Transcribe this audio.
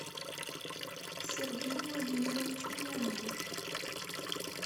сергей владимирович мунгуш